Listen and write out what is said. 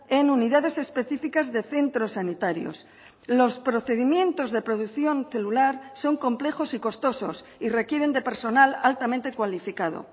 en unidades específicas de centros sanitarios los procedimientos de producción celular son complejos y costosos y requieren de personal altamente cualificado